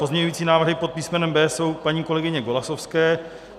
Pozměňující návrhy pod písmenem B jsou paní kolegyně Golasowské.